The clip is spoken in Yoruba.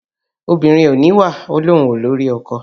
Obìnrin kò níwà ó ní òun kò ní orí ọkọ